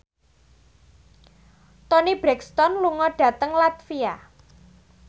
Toni Brexton lunga dhateng latvia